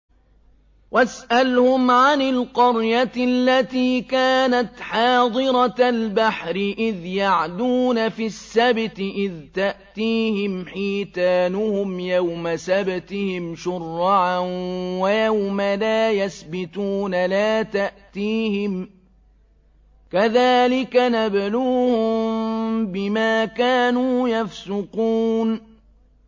وَاسْأَلْهُمْ عَنِ الْقَرْيَةِ الَّتِي كَانَتْ حَاضِرَةَ الْبَحْرِ إِذْ يَعْدُونَ فِي السَّبْتِ إِذْ تَأْتِيهِمْ حِيتَانُهُمْ يَوْمَ سَبْتِهِمْ شُرَّعًا وَيَوْمَ لَا يَسْبِتُونَ ۙ لَا تَأْتِيهِمْ ۚ كَذَٰلِكَ نَبْلُوهُم بِمَا كَانُوا يَفْسُقُونَ